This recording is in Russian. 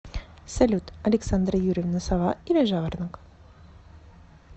салют александра юрьевна сова или жаворонок